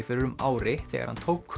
fyrir um ári þegar hann tók